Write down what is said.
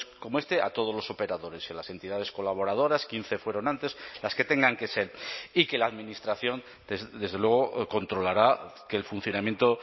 como este a todos los operadores y a las entidades colaboradoras quince fueron antes las que tengan que ser y que la administración desde luego controlará que el funcionamiento